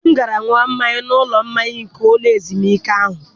Di m gara ṅụọ mmanya n'ụlọ mmanya nke ụlọ ezumike ahụ.